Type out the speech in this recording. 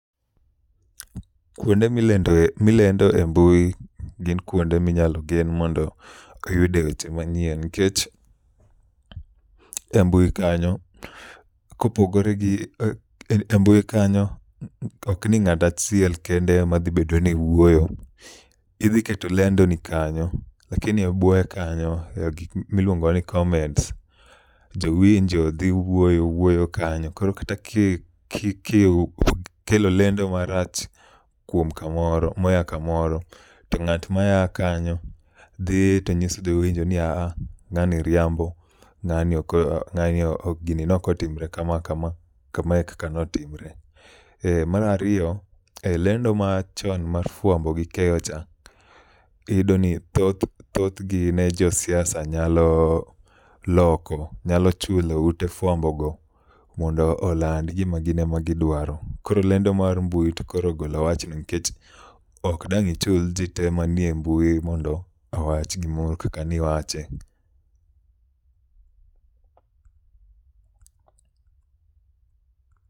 Kuonde milendoe milende e mbui gin kuonde minyalo gen mondo oyudie weche manyien nikech e mbui kanyo, kopogore gi embui kanyo ok ni ng'ato achielkende ema dh bedo ni wuoyo, lakini e bwoye kanyo e gik miluongo ni comment koro kata ka ikelomlendo marach kuom kamoro moa kamoro to ng'at ma aa kanyo dhi to nyiso jowinjo ni ah ng'ani riambo. Ng'ani ok gini ne ok otimore kama, kama e kaka ne otimore. Eh mar ariyo e lendo machon mar fuambo gi keyocha, iyudo ni thoth thothgi ne josiasa ne nyalo loko nyalo chulo ute fuambo go mondo oland lendo magin ema giduaro. Koro lendo mar mbui to koro ogolo wachno nikech ok inyal chulo jolendo te mantie mbui mondo owach gimoro kaka ne iwache.